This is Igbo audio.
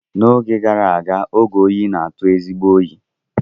N'oge gara aga, oge oyi na-atụ ezigbo oyi.